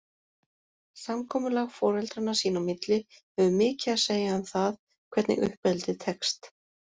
Samkomulag foreldranna sín á milli hefur mikið að segja um það, hvernig uppeldið tekst.